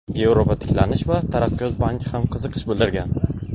Yevropa tiklanish va taraqqiyot banki ham qiziqish bildirgan.